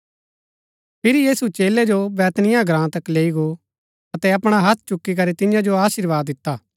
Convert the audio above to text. फिरी यीशु चेलै जो बैतनिय्याह ग्राँ तक लैई गो अतै अपणा हत्थ चुकी करी तियां जो अशीर्वाद दिता